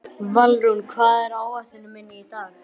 Valrún, hvað er á áætluninni minni í dag?